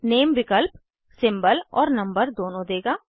नामे विकल्प सिंबल और नंबर दोनों देगा